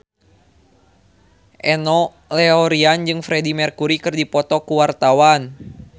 Enno Lerian jeung Freedie Mercury keur dipoto ku wartawan